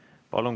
Palun!